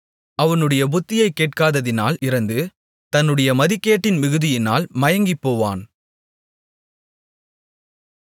அவனுடைய புத்தியைக் கேட்காததினால் இறந்து தன்னுடைய மதிகேட்டின் மிகுதியினால் மயங்கிப்போவான்